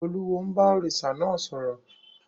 Olúwo ń bá òrìṣà náà sọ̀rọ̀.